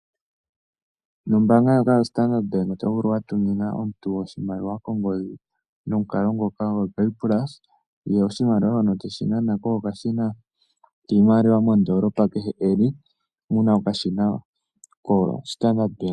Nombaanga ndjoka yoStandard Bank oto vulu wa tumina omuntu oshimaliwa kongodhi nomukalo ngoka goPayPulse ye oshimaliwa shono te shi nana ko pokashina kehem kiimaliwa mondoolopa kehe e li mu na okashina koStandard Bank.